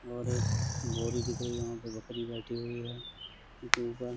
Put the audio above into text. और एक बोरी दिख रही हैं वहाँ पर बकरी बैठी हुई है | उसके ऊपर --